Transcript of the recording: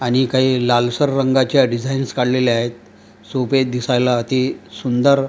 आणि काही लालसर रंगाच्या डिझाइन्स काढलेल्या आहेत सोपे आहेत दिसायला अति सुंदर--